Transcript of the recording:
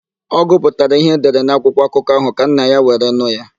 Ọ gụpụtara ihe edere na akwụkwọakụkọ ahụ ka nna ya were nụ ya.